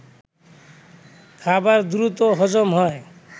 খাবার দ্রুত হজম হয়